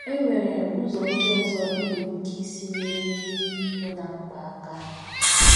E nwere ụzọ ndị ọzọ i nwere ike isi nyere ndị nọ ná mkpa aka.